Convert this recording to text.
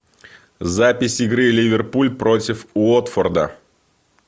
запись игры ливерпуль против уотфорда